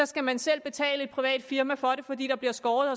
skal man selv betale et privat firma for at gøre det fordi der bliver skåret